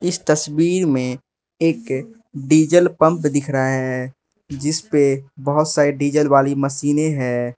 इस तस्वीर में एक डीज़ल पंप दिख रहा है जिसपे बहोत सारी डीज़ल वाली मशीनें हैं।